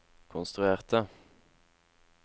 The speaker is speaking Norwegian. konstruerte